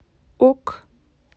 ок